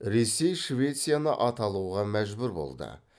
ресей швецияны аталуға мәжбүр болды